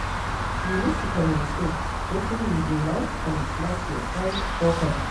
You need to communicate wetin you dey like and dislike to your friend properly